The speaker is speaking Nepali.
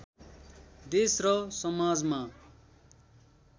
देश र समाजमा